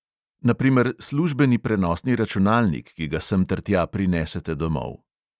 Na primer službeni prenosni računalnik, ki ga sem ter tja prinesete domov.